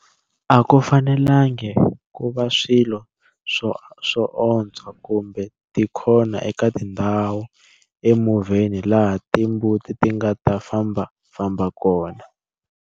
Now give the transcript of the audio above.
A ku fanelangi ku va swilo swoontswa kumbe tikhona eka tindhawu emovheni laha timbuti ti nga ta fambafamba kona.